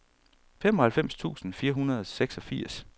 femoghalvfems tusind fire hundrede og seksogfirs